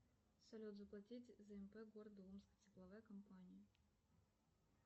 салют заплатить за мп города омск тепловая компания